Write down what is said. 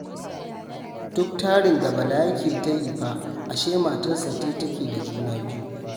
Duk tarin da Bala yake ta yi fa ashe matarsa ce take da juna-biyu